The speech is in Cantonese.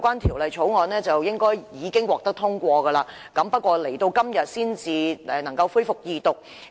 《條例草案》本應已獲得通過，但最終要到今天才能恢復二讀辯論。